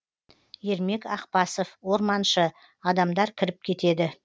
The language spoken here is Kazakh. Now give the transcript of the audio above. ермек ақпасов орманшы адамдар кіріп кетеді